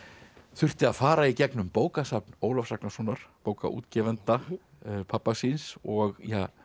þurfti að fara í gegnum bókasafn Ólafs Ragnarssonar bókaútgefanda pabba síns og